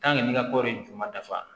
n ka kɔɔri ju ma dafa